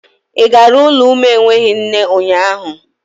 Ị gara ụlọ umu enweghị nne ụnyaahụ?